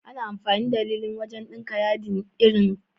Ana amfani da lilin wajan ɗinka yadin ɗinki irin so atamfa dan ya bada siffar da ake so.